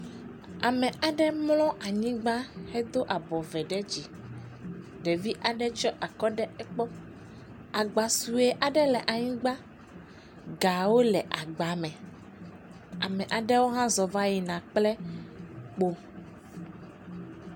Ame aɖe mlɔ anyigba hedo abɔ ve ɖe dzi, ɖevi aɖe tsiɔ akɔ ɖe egbɔ. Agba suɛ aɖe le anyigba, gawo le agbame. Ame aɖewo hã zɔ vayina kple kpo.